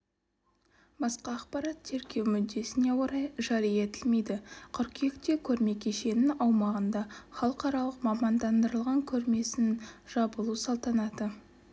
басқа ақпарат тергеу мүддесіне орай жария етілмейді қыркүйекте көрме кешенінің аумағында халықаралық мамандандырылған көрмесінің жабылу салтанаты